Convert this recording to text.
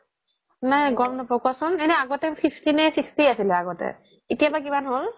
নাই গ্'ম নাপাও কোৱাচোন এনে আগতে fifty নে sixty আছিলে আগতে এতিয়া বা কিমান হ্'ল